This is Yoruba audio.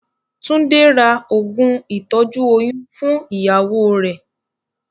Túndé ra oògùn ìtọ́jú oyún fún ìyàwó rẹ̀.